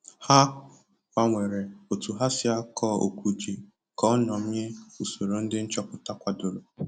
Ha gbanwere otu ha si akọ okwu ji ka o nyomie usoro ndị nchọpụta kwadoro